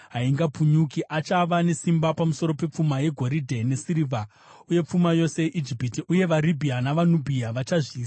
Achava nesimba pamusoro pepfuma yegoridhe nesirivha uye pfuma yose yeIjipiti, uye vaRibhiya navaNubhia vachazviisa pasi pake.